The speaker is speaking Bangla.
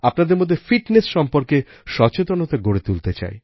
আপনাদের মধ্যে ফিটনেস সম্বন্ধে সচেতনতা গড়ে তুলতে চাই